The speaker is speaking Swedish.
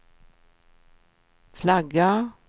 flagga